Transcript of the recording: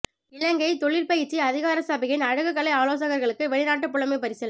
இலங்கை தொழிற் பயிற்சி அதிகாரசபையின் அழகுக்கலை ஆலோசகர்களுக்கு வெளிநாட்டு புலைமைப் பரிசில்